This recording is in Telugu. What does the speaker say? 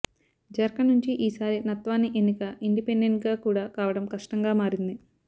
ఝార్ఖండ్ నుంచి ఈసారి నత్వాని ఎన్నిక ఇండిపెండెంట్ గా కూడా కావడం కష్టంగా మారింది